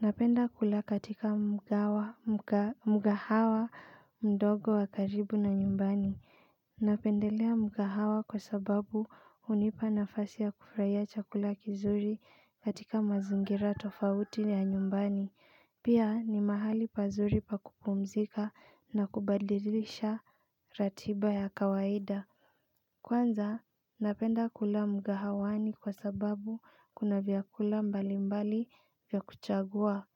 Napenda kula katika mgahawa mdogo wa karibu na nyumbani. Napendelea mgahawa kwa sababu hunipa nafasi ya kufurahia chakula kizuri katika mazingira tofauti ya nyumbani. Pia ni mahali pazuri pakupumzika na kubadilisha ratiba ya kawaida. Kwanza napenda kula mgahawani kwa sababu kuna vyakula mbali mbali vya kuchagua.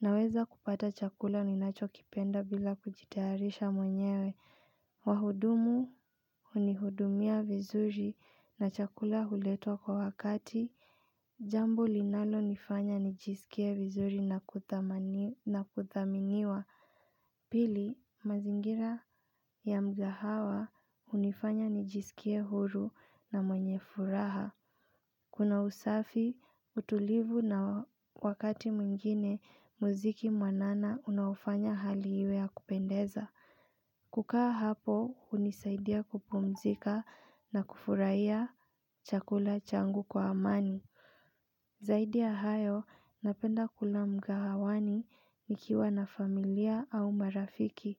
Naweza kupata chakula ninacho kipenda bila kujitayaharisha mwenyewe. Wahudumu hunihudumia vizuri na chakula huletwa kwa wakati. Jambo linalo nifanya nijisikie vizuri na kuthaminiwa. Pili mazingira ya mgahawa hunifanya nijisikie huru na mwenye furaha. Kuna usafi, utulivu na wakati mwingine muziki mwanana unaofanya hali iwe ya kupendeza. Kukaa hapo, hunisaidia kupumzika na kufurahia chakula changu kwa amani. Zaidi ya hayo, napenda kula mgahawani nikiwa na familia au marafiki.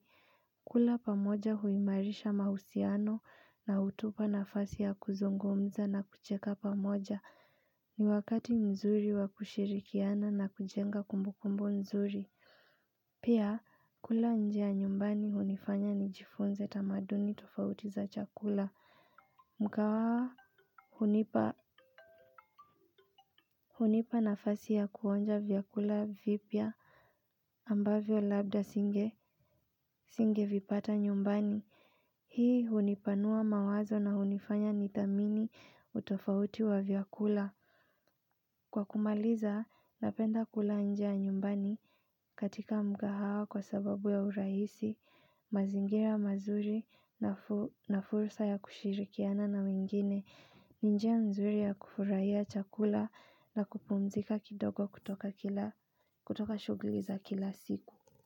Kula pamoja huimarisha mahusiano na hutupa nafasi ya kuzungumza na kucheka pamoja. Ni wakati mzuri wa kushirikiana na kujenga kumbukumbu nzuri pia kula nje nyumbani hunifanya nijifunze tamaduni tofauti za chakula mgahawa hunipa hunipa nafasi ya kuonja vyakula vipya ambavyo labda nisinge nisinge vipata nyumbani hii hunipanua mawazo na hunifanya nithamini utofauti wa vyakula. Kwa kumaliza, napenda kula nje ya nyumbani katika mgahawa kwa sababu ya urahisi, mazingira mazuri na fursa ya kushirikiana na wengine, ni njia nzuri ya kufurahia chakula na kupumzika kidogo kutoka kila kutoka shughuli za kila siku.